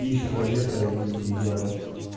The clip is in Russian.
иж планета и ява